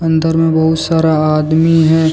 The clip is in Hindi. अंदर में बहुत सारा आदमी है।